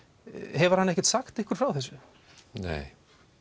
hefur hann ekkert sagt ykkur frá þessu nei